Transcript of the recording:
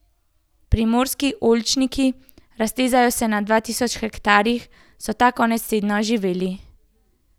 Primorski oljčniki, raztezajo se na dva tisoč hektarjih, so ta konec tedna oživeli.